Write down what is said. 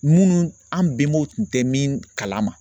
Minnu an bɛnbaw tun tɛ min kalama